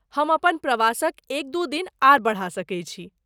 हम अपन प्रवासक एक दू दिन आर बढ़ा सकैत छी।